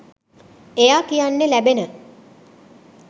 එයා කියන්නේ ලැබෙන